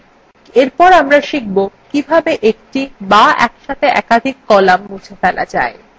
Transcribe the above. এরপর আমরা শিখব কিভাবে এক বা একসাথে একাধিক কলাম মুছে ফেলা যায়